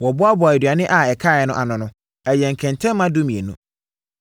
Wɔboaboaa aduane a ɛkaeɛ no ano no, ɛyɛɛ nkɛntɛmma dumienu.